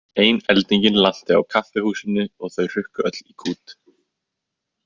Ein eldingin lanti á kaffihúsinu og þau hrukku öll í kút.